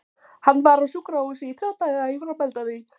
Hann var á sjúkrahúsi í þrjá daga í framhaldi af því.